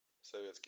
советский